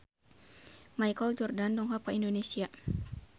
Michael Jordan dongkap ka Indonesia